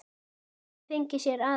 Hefði fengið sér aðra.